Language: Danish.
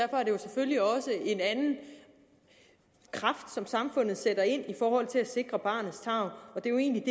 selvfølgelig også en anden kraft som samfundet sætter ind i forhold til at sikre barnets tarv og det er jo egentlig at